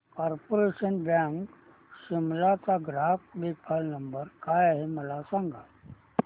corporation bank Shimla चा ग्राहक देखभाल नंबर काय आहे मला सांग